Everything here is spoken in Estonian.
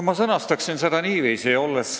Ma sõnastan selle niiviisi.